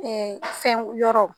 Ɛɛ fɛn yɔrɔ